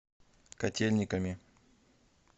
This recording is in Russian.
котельниками